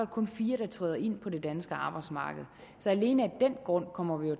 kun fire der træder ind på det danske arbejdsmarked så alene af den grund kommer vi jo